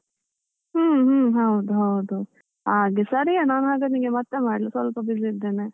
ಹ್ಮ್ ಹ್ಮ್ ಹೌದು ಹೌದು ಹಾಗೆ, ಸರಿಯಾ ನಾನ್ ಹಾಗಾದ್ರೆ ನಿನ್ಗೆ ಮತ್ತೆ ಮಾಡ್ಲಾ ಸ್ವಲ್ಪ busy ಇದ್ದೇನೆ.